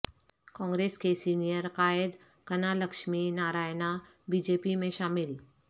کانگریس کے سینئر قائد Kanalakshmi Narayana B J P میں شامل